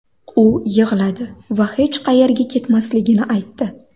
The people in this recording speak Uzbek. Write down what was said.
U yig‘ladi va hech qayerga ketmasligini aytdi.